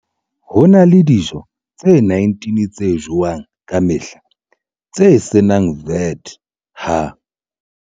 Ho na le dijo tse 19 tse jowang ka mehla tse se nang VAT ha